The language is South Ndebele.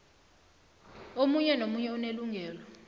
omunye nomunye unelungelo